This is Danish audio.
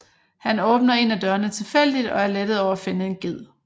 Han åbner en af dørene tilfældigt og er lettet over at finde en ged